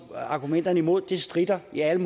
at argumenterne imod det stritter i alle